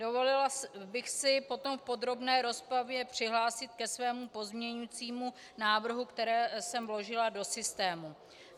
Dovolila bych si potom v podrobné rozpravě přihlásit ke svému pozměňovacímu návrhu, který jsem vložila do systému.